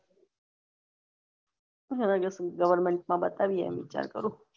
government માં બતાવી આયીયે વિચાર કરું